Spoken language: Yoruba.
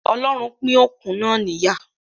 Ọlọ́run pín òkun náà níyà